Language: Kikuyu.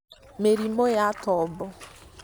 mĩrimũ ya tombo